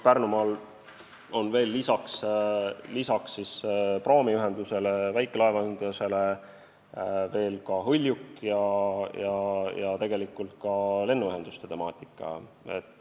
Pärnumaal on näiteks peale praamiühenduse ja väikelaevade ka hõljuk ja lennuühendused.